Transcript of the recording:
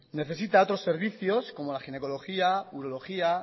necesita otros servicios como la ginecología urología